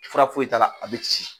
Fura foyi t'ala a bɛ ci.